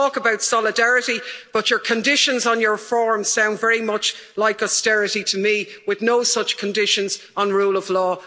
We talk about solidarity, but your conditions on your form sound very much like austerity to me, with no such conditions on the rule of law.